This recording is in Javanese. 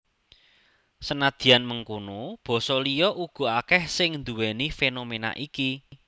Senadyan mengkono basa liya uga akèh sing nduwèni fénoména iki